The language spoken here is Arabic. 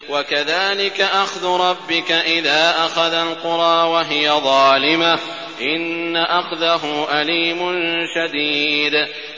وَكَذَٰلِكَ أَخْذُ رَبِّكَ إِذَا أَخَذَ الْقُرَىٰ وَهِيَ ظَالِمَةٌ ۚ إِنَّ أَخْذَهُ أَلِيمٌ شَدِيدٌ